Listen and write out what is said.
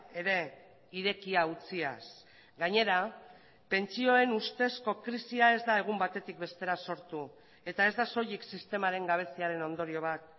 ere irekia utziaz gainera pentsioen ustezko krisia ez da egun batetik bestera sortu eta ez da soilik sistemaren gabeziaren ondorio bat